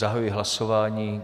Zahajuji hlasování.